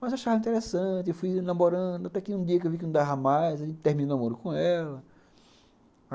Mas achava interessante, fui namorando, até que um dia que eu vi que não dava mais, terminei o namoro com ela.